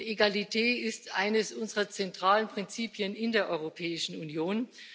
Egalität ist eines unserer zentralen Prinzipien in der Europäischen Union.